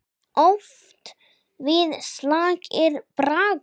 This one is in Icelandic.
Oft við slag er bragur.